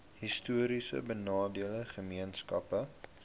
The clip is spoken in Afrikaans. histories benadeelde gemeenskappe